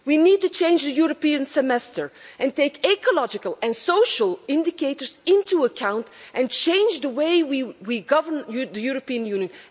We need to change the European Semester, take ecological and social indicators into account and change the way we govern the European Union.